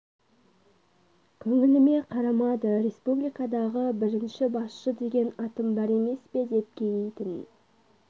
көңіліме қарамады республикадағы бірінші басшы деген атым бар емес пе деп кейитін